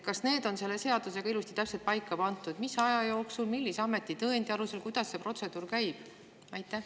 Kas selle seadusega on ilusti täpselt paika pandud, mis aja jooksul, millise ameti tõendi alusel, kuidas see protseduur käib?